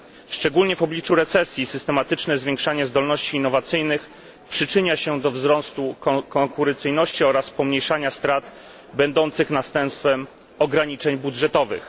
Szczególnie w obliczu recesji systematyczne zwiększanie zdolności innowacyjnych przyczynia się do wzrostu konkurencyjności oraz pomniejszania strat będących następstwem ograniczeń budżetowych.